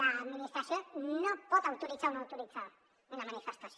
l’administració no pot autoritzar o no autoritzar una manifestació